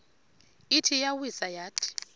ithi iyawisa yathi